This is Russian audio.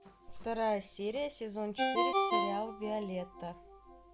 вторая серия сезон четыре сериал виолетта